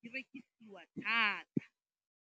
di rekisiwa thata.